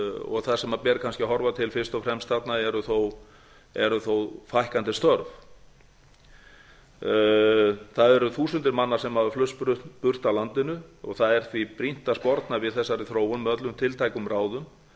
og þar sem ber kannski að horfa til fyrst og fremst þarna eru þó fækkandi störf það eru þúsundir manna sem hafa flust burt af landinu það er því brýnt að sporna við þessari þróun með öllum tiltækum ráðum